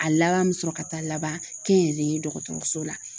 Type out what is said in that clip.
A laban me sɔrɔ ka taa laban kɛnyɛrɛye dɔgɔtɔrɔso la